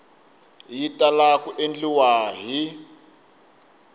yi tala ku endliwa hi